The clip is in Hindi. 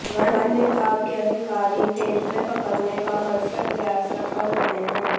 वन विभाग के अधिकारी तेंदुए पकड़ने का भरसक प्रयसा कर रहे हैं